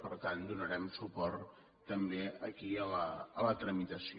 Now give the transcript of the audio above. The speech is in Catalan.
per tant donarem suport també aquí a la tramitació